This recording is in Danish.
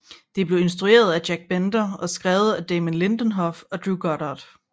Det blev instrueret af Jack Bender og skrevet af Damon Lindelof og Drew Goddard